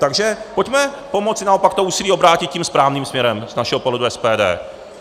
Takže pojďme pomoci naopak to úsilí obrátit tím správným směrem z našeho pohledu SPD.